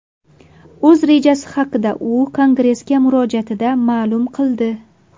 O‘z rejasi haqida u kongressga murojaatida ma’lum qildi.